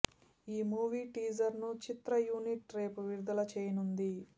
ఈ movie teaser ను చిత్ర యూనిట్ రేపు విడుదల చేయనుంది